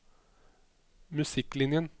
musikklinjen